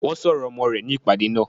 Wọ́n ṣọ ọ̀rọ̀ ọmọ rẹ̀ ní ìpàdé náà.